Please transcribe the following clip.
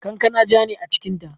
Kankana ja ne a cikinta.